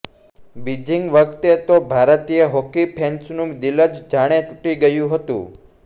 Beijing વખતે તો ભારતીય હોકી ફેન્સનુ દીલ જ જાણે તુટી ગયુ હતુ